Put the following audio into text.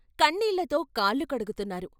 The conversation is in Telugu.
కన్నీళ్ళతో కాళ్ళు కడుగుతున్నారు.